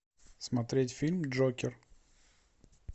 смотреть фильм джокер